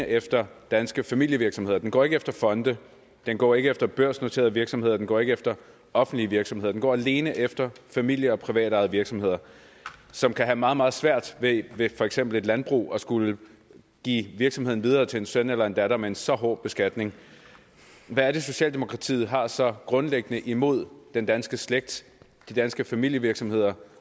efter danske familievirksomheder den går ikke efter fonde den går ikke efter børsnoterede virksomheder den går ikke efter offentlige virksomheder den går alene efter familie og privatejede virksomheder som kan have meget meget svært ved for eksempel et landbrug at skulle give virksomheden videre til en søn eller en datter med en så hård beskatning hvad er det socialdemokratiet har så grundlæggende imod den danske slægt de danske familievirksomheder